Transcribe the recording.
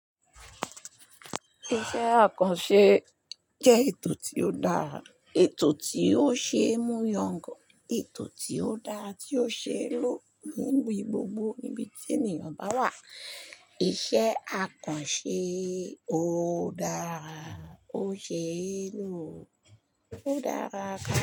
Iṣẹ́ akànṣe jẹ́ ètò tí ó dára, ètò tí ó ṣe é mú yangàn, ètò tí ó dára tí ó ṣe é lò níbi gbogbo níbi tí ènìyàn bá wà. Iṣẹ́ akànṣe ó dára, ó ṣe é lò, ó dára gan.